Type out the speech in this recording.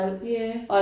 Ja